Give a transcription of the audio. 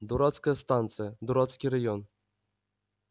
дурацкая станция дурацкий район